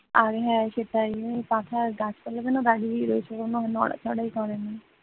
আরে হ্যাঁ সেটাই মানে গাছপালা যেন দাঁড়িয়েই রয়েছে কোন নড়াচড়া করে না।